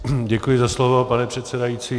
Děkuji za slovo, pane předsedající.